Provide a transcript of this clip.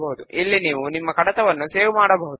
ఇప్పుడు అన్ని ఫీల్డ్స్ ను కుడి వైపుకు మూవ్ చేద్దాము